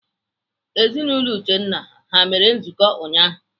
Ezinaụlọ Uchenna ha mere nzukọ ụnyaahụ?